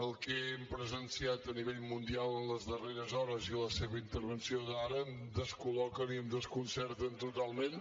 el que hem presenciat a nivell mundial en les darreres hores i la seva intervenció d’ara em descol·loquen i em desconcerten totalment